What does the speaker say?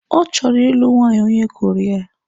Ọ chọrọ ịlụ nwanyị onye Koria.